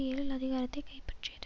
ஏழில் அதிகாரத்தை கைப்பற்றியது